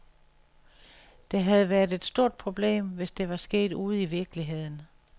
Det havde været et stort problem, hvis det var sket ude i virkeligheden.